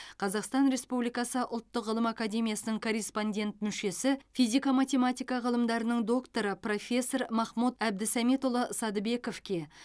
қазақстан республикасы ұлттық ғылым академиясының корреспондент мүшесі физика математика ғылымдарының докторы профессор махмуд әбдісәметұлы садыбековке